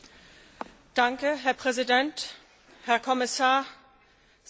Herr Präsident, Herr Kommissar, sehr geehrte Kollegen!